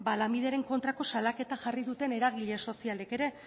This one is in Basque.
lanbideren kontrako salaketa jarri duten eragile sozialek ere